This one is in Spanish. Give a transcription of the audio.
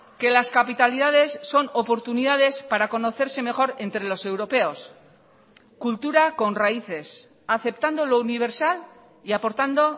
que las capitalidades son oportunidades para conocerse mejor entre los europeos cultura con raíces aceptando lo universal y aportando